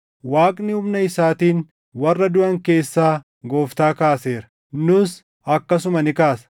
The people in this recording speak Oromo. Waaqni humna isaatiin warra duʼan keessaa Gooftaa kaaseera; nus akkasuma ni kaasa.